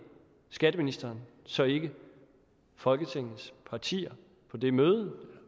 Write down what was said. skatteministeren så ikke folketingets partier på det møde